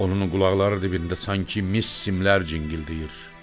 Onun qulaqları dibində sanki mis simlər cingildəyir.